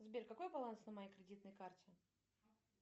сбер какой баланс на моей кредитной карте